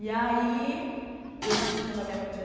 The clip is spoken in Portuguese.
E aí, eu nasci quando a minha mãe tinha